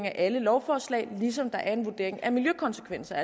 af alle lovforslag ligesom der er en vurdering af miljøkonsekvenserne